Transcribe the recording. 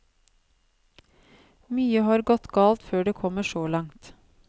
Mye har gått galt før det kommer så langt.